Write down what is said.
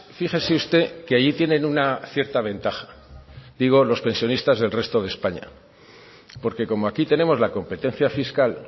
fíjese usted que allí tienen una cierta ventaja digo los pensionistas del resto de españa porque como aquí tenemos la competencia fiscal